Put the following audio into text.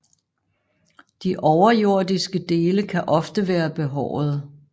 De overjordiske dele kan ofte være behårede